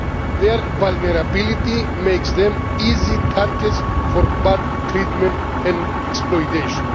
Their vulnerability makes them easy targets for bad treatment and exploitation.